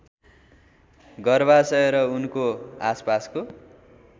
गर्भाशय र उनको आसपासको